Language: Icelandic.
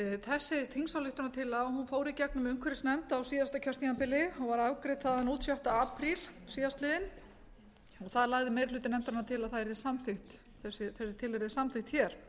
þessi þingsályktunartillaga fór i gegnum umhverfisnefnd á síðasta kjörtímabili og var afgreidd þaðan út sjötta apríl síðastliðinn þar lagði meiri hluti nefndarinnar til að þessi tillaga yrði samþykkt hér